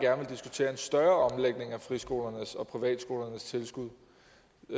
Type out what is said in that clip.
større omlægning af friskolernes og privatskolernes tilskud